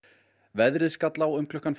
veðrið skall á um klukkan